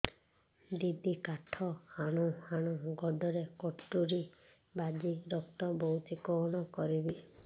ଦିଦି କାଠ ହାଣୁ ହାଣୁ ଗୋଡରେ କଟୁରୀ ବାଜି ରକ୍ତ ବୋହୁଛି କଣ କରିବି